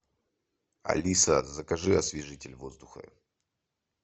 алиса закажи освежитель воздуха